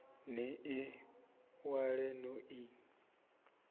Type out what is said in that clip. ni ḽi ṅwale no ḽi